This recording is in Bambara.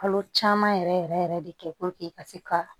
Kalo caman yɛrɛ yɛrɛ de kɛ ka se ka